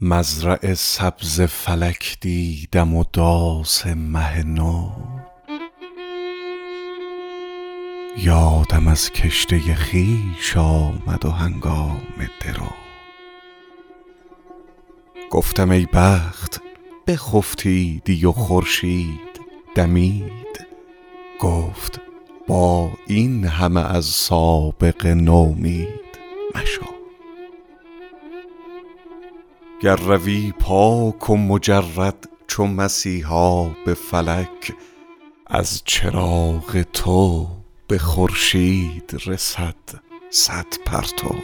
مزرع سبز فلک دیدم و داس مه نو یادم از کشته خویش آمد و هنگام درو گفتم ای بخت بخفتیدی و خورشید دمید گفت با این همه از سابقه نومید مشو گر روی پاک و مجرد چو مسیحا به فلک از چراغ تو به خورشید رسد صد پرتو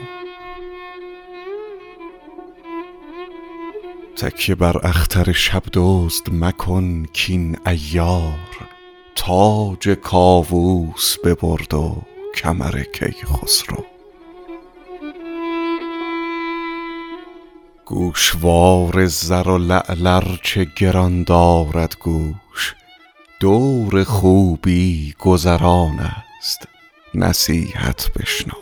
تکیه بر اختر شب دزد مکن کاین عیار تاج کاووس ببرد و کمر کیخسرو گوشوار زر و لعل ار چه گران دارد گوش دور خوبی گذران است نصیحت بشنو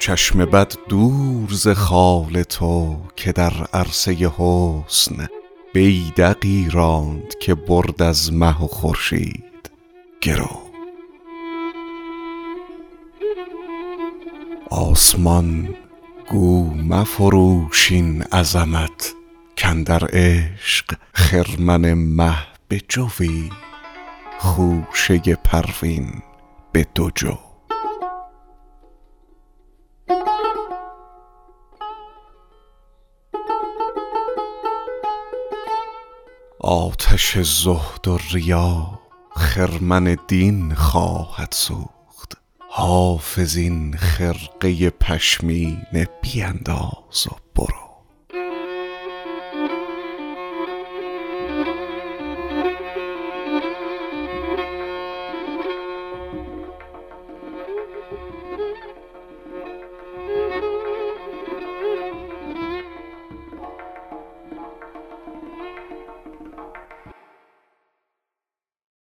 چشم بد دور ز خال تو که در عرصه حسن بیدقی راند که برد از مه و خورشید گرو آسمان گو مفروش این عظمت کاندر عشق خرمن مه به جوی خوشه پروین به دو جو آتش زهد و ریا خرمن دین خواهد سوخت حافظ این خرقه پشمینه بینداز و برو